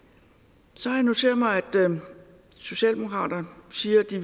så har jeg noteret mig at socialdemokraterne siger at de